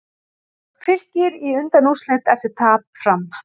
Fylkir í undanúrslit eftir tap Fram